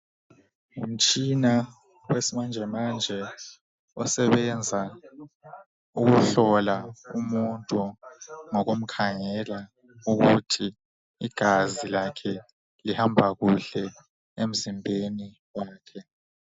Ngumtshina wesimanje manje osebenza ukuhlola umuntu ngokumkhaangela ukuthi igazi lakhe lihamba kuhle emzimbeni wakhe.